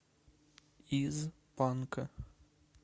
из панка